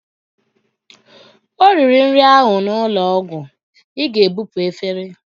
O riri nri ahụ n'ụlọ ọgwụ, Ị ga-ebupu efere!